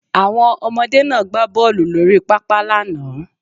Àwọn ọmọdé náà gbá bọ́ọlù lórí pápá lánàá